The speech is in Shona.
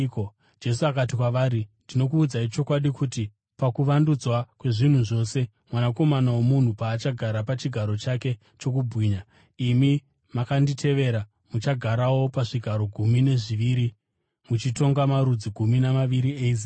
Jesu akati kwavari, “Ndinokuudzai chokwadi, kuti pakuvandudzwa kwezvinhu zvose, Mwanakomana woMunhu paachagara pachigaro chake chokubwinya, imi makanditevera muchagarawo pazvigaro gumi nezviviri muchitonga marudzi gumi namaviri eIsraeri.